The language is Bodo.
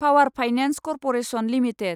power finance corporation limited